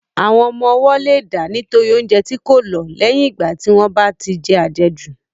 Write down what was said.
Àwọn ọmọ ọwọ́ leè dà nítorí oúnjẹ tí kò lọ̀ lẹ́yìn ìgbà tí wọ́n bá tí je àjejù.